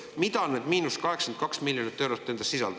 Mida need –82 miljonit eurot endas sisaldavad?